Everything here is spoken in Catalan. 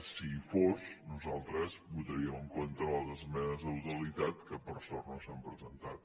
si hi fos nosaltres votaríem en contra de les esmenes a la totalitat que per sort no s’han presentat